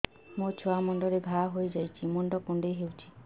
ମୋ ଛୁଆ ମୁଣ୍ଡରେ ଘାଆ ହୋଇଯାଇଛି ମୁଣ୍ଡ କୁଣ୍ଡେଇ ହେଉଛି